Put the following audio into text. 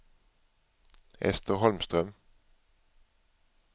Ester Holmström